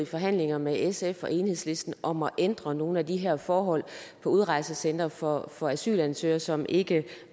forhandlinger med sf og enhedslisten om at ændre nogle af de her forhold på udrejsecentrene for for asylansøgere som ikke